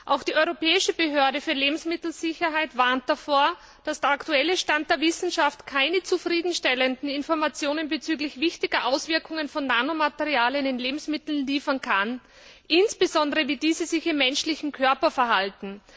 Auch die Europäische Behörde für Lebensmittelsicherheit warnt davor, dass der aktuelle Stand der Wissenschaft keine zufriedenstellenden Informationen bezüglich wichtiger Auswirkungen von Nanomaterialien in Lebensmitteln liefern kann, insbesondere wie diese sich im menschlichen Körper verhalten.